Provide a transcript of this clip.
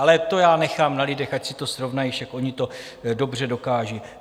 Ale to já nechám na lidech, ať si to srovnají, však oni to dobře dokážou.